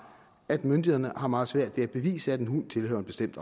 at myndighederne har meget svært ved at bevise at en hund tilhører en bestemt